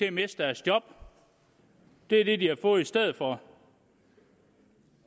at miste deres job det er det de har fået i stedet for